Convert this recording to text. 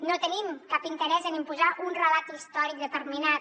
no tenim cap interès en imposar un relat històric determinat